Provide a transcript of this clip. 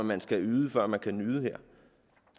man skal yde før man kan nyde